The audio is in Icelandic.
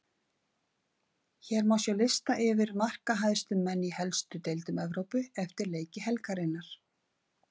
Hérna má sjá lista yfir markahæstu menn í helstu deildum Evrópu eftir leiki helgarinnar: